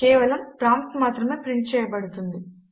కేవలము ప్రాంప్ట్ మాత్రమే ప్రింట్ చేయబడుతుంది